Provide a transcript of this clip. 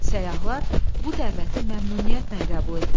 Səyahlar bu dəvəti məmnuniyyətlə qəbul etdilər.